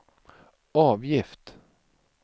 avgift